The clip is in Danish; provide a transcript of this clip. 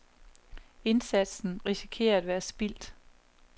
Indsatsen risikerer at være spildt.